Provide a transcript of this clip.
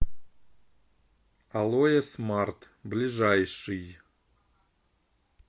алое смарт ближайший